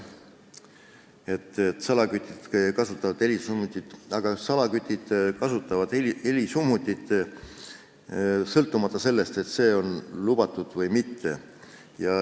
Salakütid kasutavad helisummutit jah, aga nad kasutavad seda sõltumata sellest, kas see on lubatud või mitte.